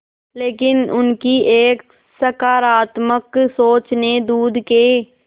लेकिन उनकी एक सकरात्मक सोच ने दूध के